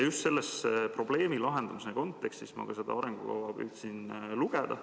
Just selles probleemi lahendamise kontekstis ma seda arengukava püüdsin lugeda.